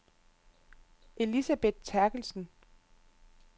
Elisabeth Therkelsen